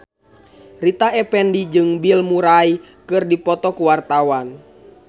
Rita Effendy jeung Bill Murray keur dipoto ku wartawan